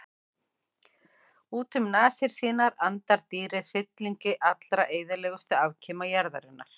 Út um nasir sínar andar dýrið hryllingi allra eyðilegustu afkima jarðarinnar.